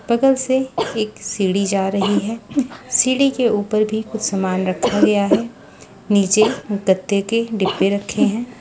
बगल से एक सीढ़ी जा रही है सीढ़ी के ऊपर भी कुछ सामान रखा गया है नीचे गत्ते के डिब्बे रखे हैं।